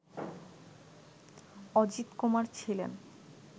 অজিতকুমার ছিলেন